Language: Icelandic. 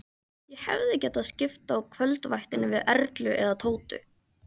Ég hefði getað skipt á kvöldvaktinni við Erlu eða Tótu.